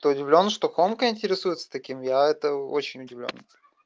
ты удивлён что конка интересуется таким я это очень удивлён